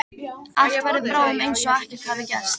Allt verður bráðum einsog ekkert hafi gerst.